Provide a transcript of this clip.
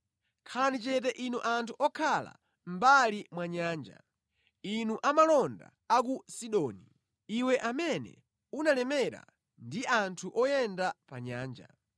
Khalani chete inu anthu okhala mʼmbali mwa nyanja, inu amalonda a ku Sidoni, iwe amene unalemera ndi anthu oyenda pa nyanja.